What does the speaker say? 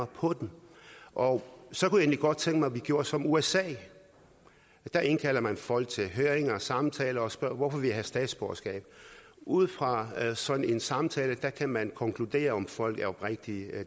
på dem og så kunne jeg egentlig godt tænke mig at vi gjorde som usa der indkalder man folk til høringer og samtaler og spørger hvorfor vil i have statsborgerskab ud fra sådan en samtale kan man konkludere om folk er oprigtige